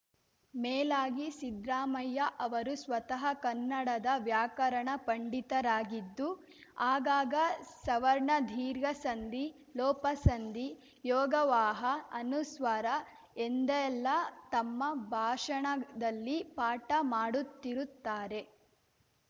ಮೇಲಾಗಿ ಸಿದ್ರಾಮಯ್ಯ ಅವರು ಸ್ವತಃ ಕನ್ನಡದ ವ್ಯಾಕರಣ ಪಂಡಿತರಾಗಿದ್ದು ಆಗಾಗ ಸವರ್ಣದೀರ್ಘ ಸಂಧಿ ಲೋಪಸಂಧಿ ಯೋಗವಾಹ ಅನುಸ್ವಾರ ಎಂದೆಲ್ಲ ತಮ್ಮ ಭಾಷಣದಲ್ಲಿ ಪಾಠ ಮಾಡುತ್ತಿರುತ್ತಾರೆ